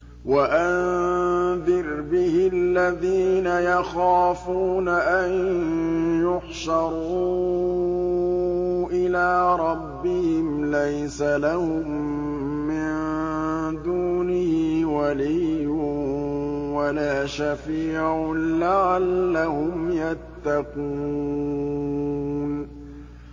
وَأَنذِرْ بِهِ الَّذِينَ يَخَافُونَ أَن يُحْشَرُوا إِلَىٰ رَبِّهِمْ ۙ لَيْسَ لَهُم مِّن دُونِهِ وَلِيٌّ وَلَا شَفِيعٌ لَّعَلَّهُمْ يَتَّقُونَ